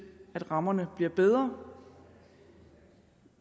at rammerne bliver bedre